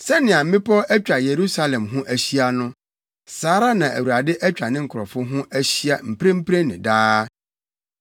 Sɛnea mmepɔw atwa Yerusalem ho ahyia no, saa ara na Awurade atwa ne nkurɔfo ho ahyia mprempren ne daa.